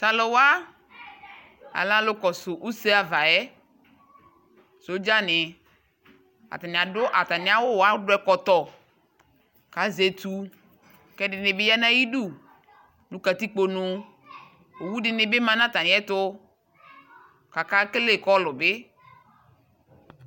Tʋ alʋwa alɛ alʋ kɔsʋ ʋse ava yɛ, sodza ni Atani adʋ atami awʋ wa, dʋ ɛkɔtɔ kʋ azɛ etʋ kʋ ɛdini bi ya nʋ ayidu nʋ katikpo nu Owʋ di ni bi ma nʋ atami ɛtʋ kʋ akekele kɔlʋ bi